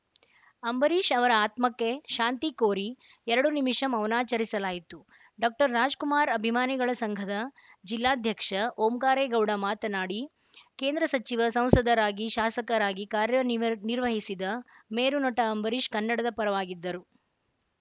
ಅಂಬರೀಷ್‌ ಅವರ ಆತ್ಮಕ್ಕೆ ಶಾಂತಿ ಕೋರಿ ಎರಡು ನಿಮಿಷ ಮೌನಾಚರಿಸಲಾಯಿತು ಡಾಕ್ಟರ್‍ ರಾಜ್‌ಕುಮಾರ್‌ ಅಭಿಮಾನಿಗಳ ಸಂಘದ ಜಿಲ್ಲಾಧ್ಯಕ್ಷ ಓಂಕಾರೇಗೌಡ ಮಾತನಾಡಿ ಕೇಂದ್ರ ಸಚಿವ ಸಂಸದರಾಗಿ ಶಾಸಕರಾಗಿ ಕಾರ್ಯ ನಿವರ್ ನಿರ್ವಹಿಸಿದ ಮೇರು ನಟ ಅಂಬರೀಷ್‌ ಕನ್ನಡದ ಪರವಾಗಿದ್ದರು